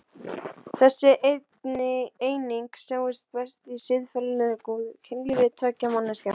Þessi eining sjáist best í siðferðilega góðu kynlífi tveggja manneskja.